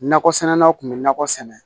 Nakɔ sɛnɛlaw kun bɛ nakɔ sɛnɛ